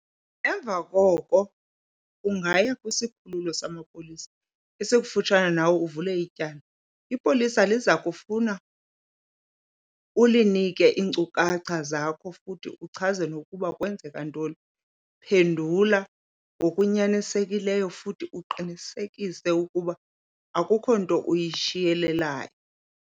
Emva koko ungaya kwisikhululo samapolisa esikufutshane nawe uvule ityala. Ipolisa liza kufuna ulinike iinkcukacha zakho futhi uchaze nokuba kwenzeke ntoni. Phendula ngokunyanisekileyo futhi uqinisekise ukuba akukho nto uyishiyelelayo.